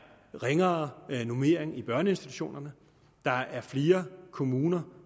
ringere normering i børneinstitutionerne der er flere kommuner